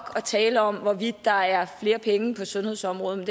at tale om hvorvidt der er flere penge på sundhedsområdet men